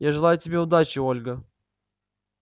я желаю тебе удачи ольга